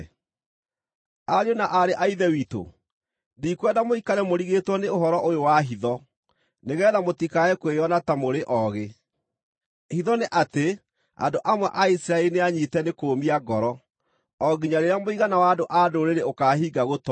Ariũ na aarĩ a Ithe witũ, ndikwenda mũikare mũrigĩtwo nĩ ũhoro ũyũ wa hitho, nĩgeetha mũtikae kwĩona ta mũrĩ oogĩ: Hitho nĩ atĩ, andũ amwe a Isiraeli nĩanyiite nĩ kũũmia ngoro, o nginya rĩrĩa mũigana wa andũ-a-Ndũrĩrĩ ũkaahinga gũtoonya.